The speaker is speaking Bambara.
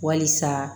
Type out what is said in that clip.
Walisa